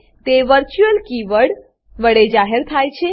તે virtual keyword virtual keyword વડે જાહેર થાય છે